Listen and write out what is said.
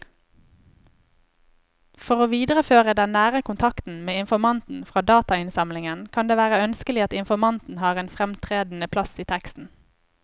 For å videreføre den nære kontakten med informanten fra datainnsamlingen kan det være ønskelig at informanten har en fremtredende plass i teksten.